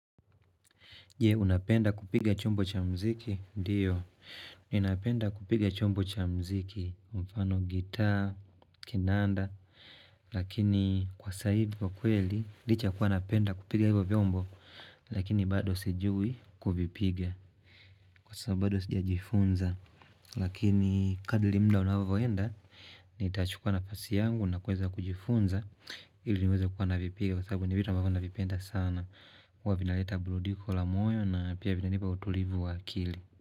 Je, unapenda kupiga chombo cha mziki, ndiyo. Ninapenda kupiga chombo cha mziki, mfano gitaa, kinanda, lakini kwa sa hivi vya kweli, licha ya kuwa napenda kupiga hivyo vyombo, lakini bado sijui kuvipiga. Saa bado sijajifunza, lakini kadili mda unavoenda, nitachukua na fasi yangu, na kuweza kujifunza, ili niweza kuwa navipiga. Kwa sababu ni vitu ambavyo na vipenda sana huwa vinaleta burudiko la moyo na pia vina nipa utulivu wa akili.